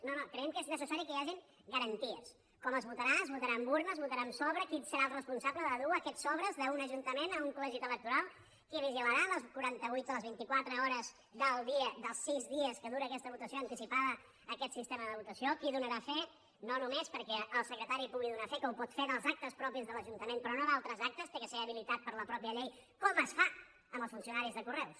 no no creiem que és necessari que hi hagin garanties com es votarà es votarà amb urna es votarà amb sobre qui serà el responsable de dur aquests sobres d’un ajuntament a un col·legi electoral qui vigilarà les quaranta vuit o les vint i quatre hores del dia dels sis dies que dura aquesta votació anticipada aquest sistema de votació qui en donarà fe no només perquè el secretari pugui donar fe que ho pot fer dels actes propis de l’ajuntament però no d’altres actes ha de ser habilitat per la mateixa llei com es fa amb els funcionaris de correus